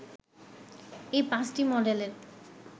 এই ৫টি মডেলের